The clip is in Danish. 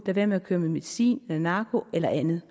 være med at køre med medicin narko eller andet